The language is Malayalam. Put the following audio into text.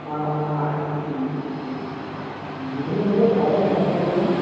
ആഹ് ആഹ് ശെരി ശെരി. ഉം ഉം. ഉം പിന്നെ എന്തെല്ലാ സാറേ ഞാൻ